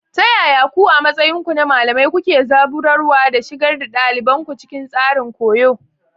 Ta yaya ku, a matsayinku na malamai, kuke zaburarwa da shigar da ɗaliban ku cikin tsarin koyo?